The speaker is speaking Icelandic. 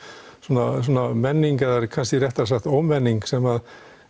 konar menning eða kannski er réttara að segja ómenning sem